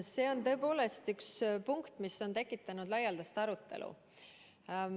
See on tõepoolest üks punkt, mis on tekitanud laialdast arutelu.